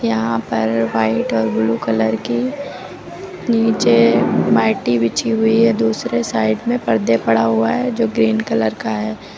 यहां पर व्हाइट और ब्लू कलर की नीचे मैटी बिछी हुई है दूसरे साइड में पर्दे पड़ा हुआ है जो ग्रीन कलर का है।